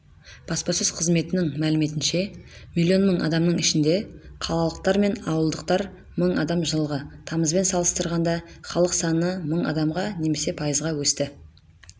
баспасөз қызметінің мәліметінше миллион мың адамныңішінде қалалықтар мың ауылдықтар мың адам жылғы тамызбен салыстырғанда халық саны мың адамға немесе пайызға өсті